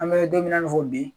An be donmina in'a fɔ bi